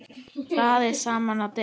Raðið saman á disk.